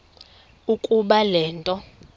ukuba le nto